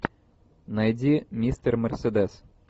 найди мистер мерседес